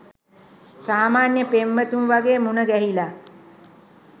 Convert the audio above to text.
සාමාන්‍ය පෙම්වතුන් වගේ මුණ ගැහිලා